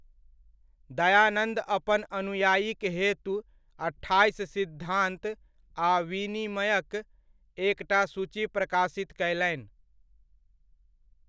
दयानन्द अपन अनुयायिक हेतु अठाइस सिद्धान्त आ विनिमयक एकटा सूची प्रकाशित कयलनि।